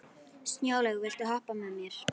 Snjólaug, viltu hoppa með mér?